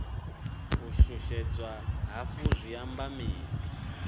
u shushedzwa hafhu zwi amba mini